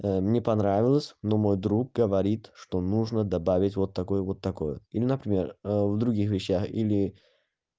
мне понравилось но мой друг говорит что нужно добавить вот такой вот такой или например в других вещах или